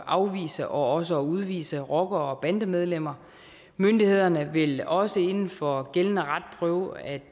afvise og også at udvise rockere og bandemedlemmer myndighederne vil også inden for gældende ret prøve at